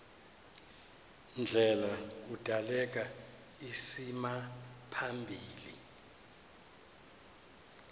ndlela kudaleka isimaphambili